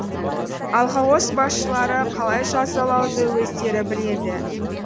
ал колхоз басшылары қалай жазалауды өздері біледі